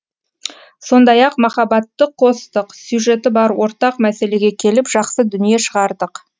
сондай ақ махаббатты қостық сюжеті бар ортақ мәселеге келіп жақсы дүние шығардық